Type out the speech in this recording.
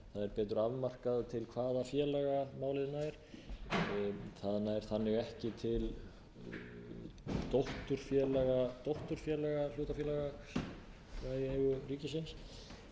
betur afmarkað til hvaða félaga málið nær það nær ekki til dótturfélaga hlutafélaga sem eru í eigu ríkisins